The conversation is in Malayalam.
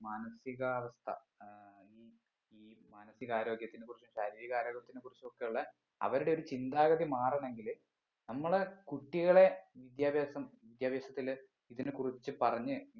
മാനസികാവസ്ഥ ഏർ ഈ ഈ മാനസികാരോഗ്യത്തിന് കുറിച്ച് ശരീര ആരോഗ്യത്തിനെ കുറിച്ച് ഒക്കെ ഉള്ളെ അവരുടെ ഒരു ചിന്താഗതി മാറാണെങ്കില് നമ്മളെ കുട്ടികളെ വിദ്യാഭ്യാസം വിദ്യാഭ്യാസത്തില് ഇതിനെ കുറിച്ച് പറഞ്ഞ്